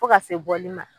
Fo ka se bɔli ma